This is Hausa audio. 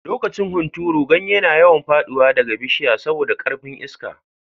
Lokacin hunturu, ganye na yawan fadi da bishiya sabi da karfin Iska.